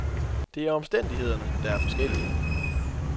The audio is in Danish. Det er omstændighederne, der er forskellige.